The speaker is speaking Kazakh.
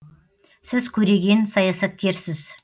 сіз көреген саясаткерсіз